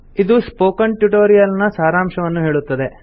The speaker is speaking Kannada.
ಇದು ಸ್ಪೋಕನ್ ಟ್ಯುಟೊರಿಯಲ್ ನ ಸಾರಾಂಶವನ್ನು ಹೇಳುತ್ತದೆ